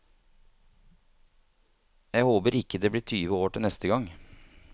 Jeg håper ikke det blir tyve år til neste gang.